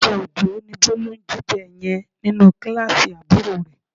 Oúnjẹ Òjó ni Bólú ń jíjẹ yẹn nínú kíláàsì àbúrò rẹ